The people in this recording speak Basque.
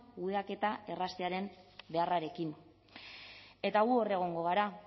kudeaketa erraztearen beharrarekin eta gu egongo gara